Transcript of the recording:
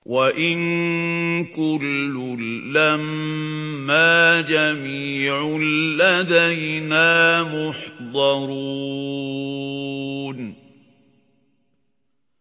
وَإِن كُلٌّ لَّمَّا جَمِيعٌ لَّدَيْنَا مُحْضَرُونَ